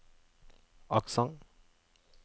aksent